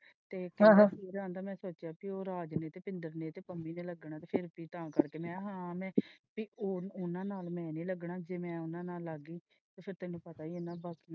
ਤੇ ਹਮ ਆਹੋ ਮੈ ਵੀਰਾ ਆਉਂਦਾ ਮੈਂ ਸੋਚਿਆ ਸੀ ਕੀ ਉਹ ਰਾਜਵੀਰ, ਨੇ ਤੇ ਪੰਮੀ ਨੇ ਲੱਗਣਾ ਹੈ ਤੇ ਫੇਰ ਅਸੀਂ ਤਾ ਕਰਕੇ ਮੈਂ ਹਾਂ ਮੈਂ ਉਹਨਾਂ ਨਾਲ ਮੈਂ ਨਹੀਂ ਲੱਗਣਾ ਜੇ ਮੈਂ ਉਹਨਾਂ ਨਾਲ ਲੱਗ ਗਈ ਤੇ ਫੇਰ ਤੈਨੂੰ ਪਤਾ ਹੀ ਹੈ ਨਾ ਬਾਪੂ।